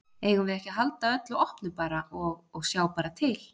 Eigum við ekki að halda öllu opnu bara og, og sjá bara til?